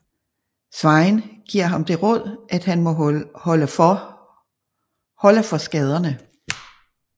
Sveinn giver ham det råd at han må holde for skaderne